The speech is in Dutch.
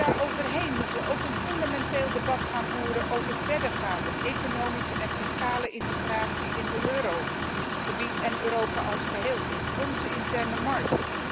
Maar daarnaast moeten we ook een fundamenteel debat voeren over verdergaande economische en fiscale integratie in het eurogebied en Europa als geheel, in onze interne markt.